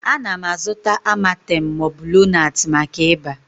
Ana m azụta amatem ma ọ bụ lonart maka ịba